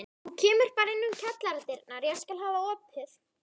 Þú kemur bara inn um kjallaradyrnar, ég skal hafa opið.